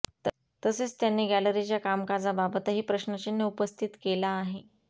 तसेच त्यांनी गॅलरीच्या कामकाजाबाबतही प्रश्नचिन्ह उपस्थित केला आहे